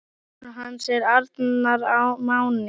Sonur hans er Arnar Máni.